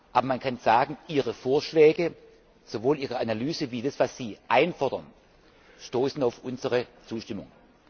Aber man kann sagen, Ihre Vorschläge sowohl Ihre Analyse als auch das, was Sie einfordern stoßen auf unsere Zustimmung.